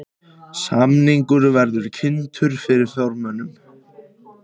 Samningur verði kynntur formönnum